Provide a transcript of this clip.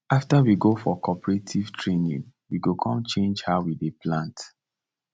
after we go for cooperative training we com change how we dey plant